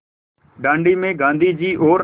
दाँडी में गाँधी जी और